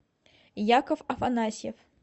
яков афанасьев